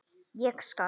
Ég skal!